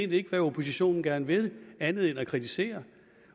ved hvad oppositionen gerne vil andet end at kritisere